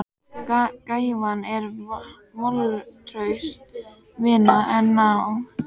Gæfan er völtust vina, en náð